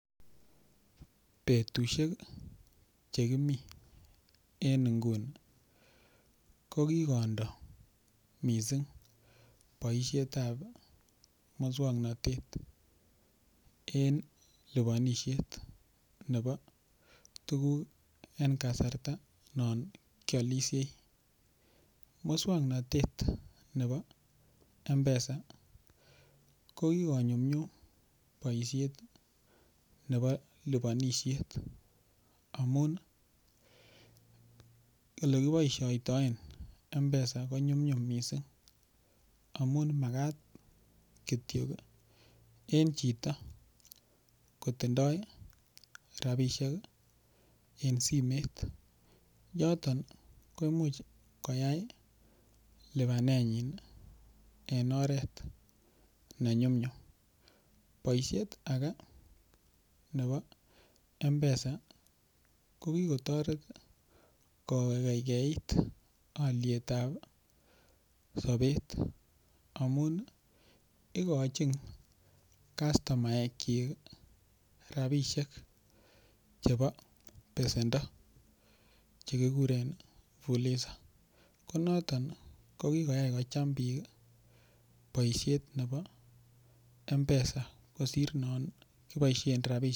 Betushek chekimi en nguni kokikondo mising' boishetab muswong'natet en lipanishet nebo tukuk en kasarta non kiolishei muswang'natet nebo mpesa ko kikonyumyum boishet nebo lipanishet omun olekiboishoitoen mpesa konyumyum mising' amun makat kityo en choto kotindoi rabishek en simet yoton ko imuch koyai lipanenyin en oret nenyumnyum boishet age nebo mpesa ko kikotoret ko keikeit olietab sobet amun ikovhin kastomaek chik rabishek chebo pesendo chekikuren fuliza konoto ko kikoyai kocham biik boishet nebo mpesa kosir non kiboishe rabishek